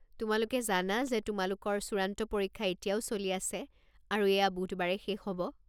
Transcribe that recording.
তোমালোকে জানা যে তোমালোকৰ চূড়ান্ত পৰীক্ষা এতিয়াও চলি আছে আৰু এয়া বুধবাৰে শেষ হ'ব।